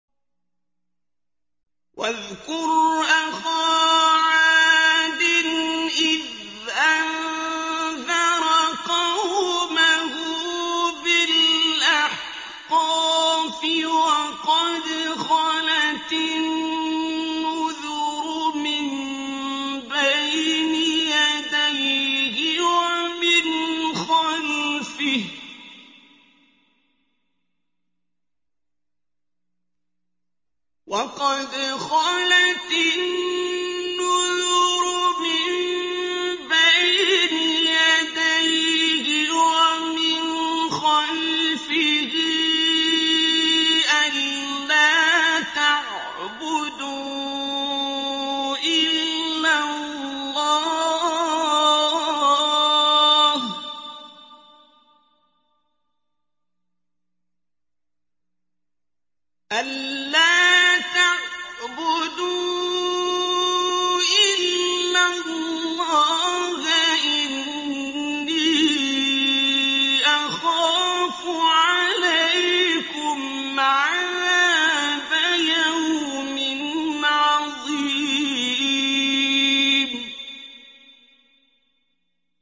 ۞ وَاذْكُرْ أَخَا عَادٍ إِذْ أَنذَرَ قَوْمَهُ بِالْأَحْقَافِ وَقَدْ خَلَتِ النُّذُرُ مِن بَيْنِ يَدَيْهِ وَمِنْ خَلْفِهِ أَلَّا تَعْبُدُوا إِلَّا اللَّهَ إِنِّي أَخَافُ عَلَيْكُمْ عَذَابَ يَوْمٍ عَظِيمٍ